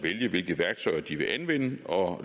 vælge hvilke værktøjer de vil anvende og